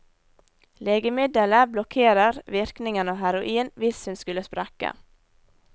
Legemiddelet blokkerer virkningen av heroin hvis hun skulle sprekke.